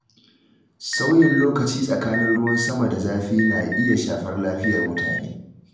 Sauyin lokaci tsakanin ruwan sama da zafi na iya shafar lafiyar mutane.